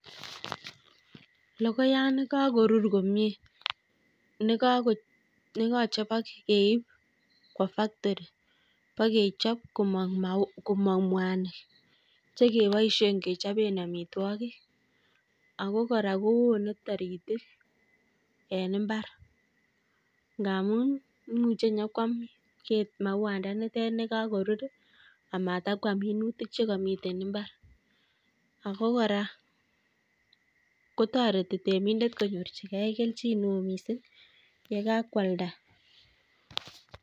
Logoyani kakorur komyie nekachobok keip kwo factory pekechop komong' mwanik chekeboisie kechobe amitwogik, ako kora koone taritik eng' mbar ngaamun muche nyekwam ket maunda nete nekakorur amatokwam minutik chekamite mbar. ako kora kotoreti temindet konyorchigei kelchin neo miising' yekakwalda